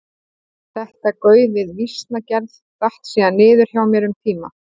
Þetta gauf við vísnagerð datt síðan niður hjá mér um tíma.